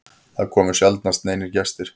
Það komu sjaldnast neinir gestir.